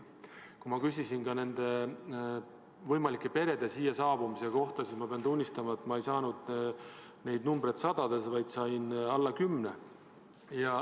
Kui küsisin nende võimalike perede siia saabumise kohta, siis pean tunnistama, et ma ei saanud neid numbreid sadades, vaid sain alla kümne.